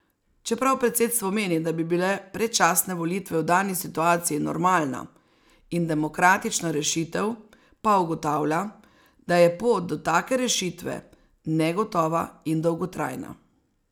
Čeprav predsedstvo meni, da bi bile predčasne volitve v dani situaciji normalna in demokratična rešitev, pa ugotavlja, da je pot do take rešitve negotova in dolgotrajna.